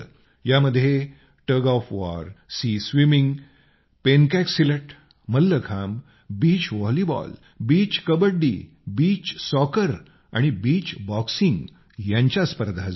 यामध्ये tug of war sea swimming पेनकॅकसिलट mallakhamb beach volleyball beach kabaddi beach soccer आणि beach boxing यांच्या स्पर्धा झाल्या